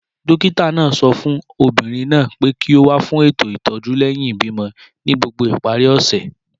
Dókítà náà sọ fún obìnrin náà pé kí ó wá fún ètò ìtọ́jú lẹ́yìn ìbímọ ní gbogbo ìparí ọ̀sẹ̀